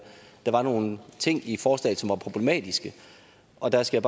der var nogle ting i forslaget som var problematiske og der skal